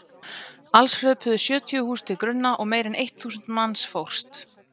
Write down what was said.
Alls hröpuðu sjötíu hús til grunna og meira en eitt þúsund manns fórst.